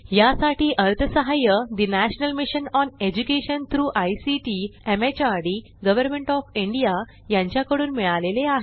यासाठी अर्थसहाय्य national mission on education through ICT MHRD government of India यांच्याकडून मिळालेले आहे